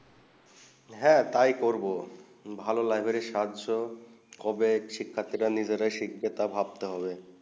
হেঁ তাই করবো ভালো লাইব্রেরি সহজ কবে শিখায়ারটি রা নিজে শিখবে তাই ভাবতে হবে